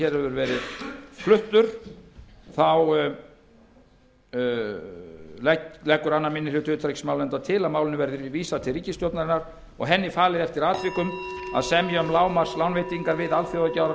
hefur verið fluttur leggur annar minni hluti utanríkismálanefndar til að málinu verði vísað til ríkisstjórnarinnar og henni falið eftir atvikum að semja um lágmarkslánveitingar við